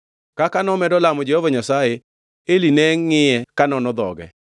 Kaka nomedo lamo Jehova Nyasaye, Eli ne ngʼiye ka nono dhoge.